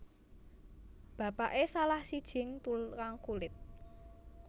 Bapake salah sijing tukang kulit